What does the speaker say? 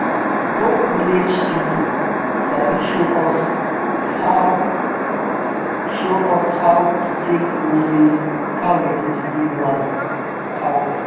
old village people sabi show us how show us how to take know say cow ready to give woman cow belle.